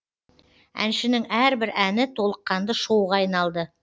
әншінің әрбір әні толыққанды шоуға айналды